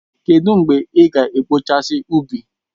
Kedụ mgbe ị ga-akpachasi ubi?